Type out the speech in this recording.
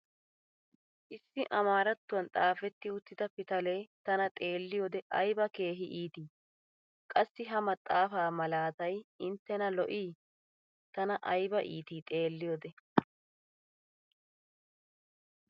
issi amaarattuwan xaafetti uttida pitalee tana xeeliyoode ayba keehi iittii! qassi ha maxaafaa malaatay intenna lo"ii tana kayba ittii xeeliyoode.